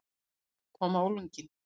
Hik kom á unglinginn.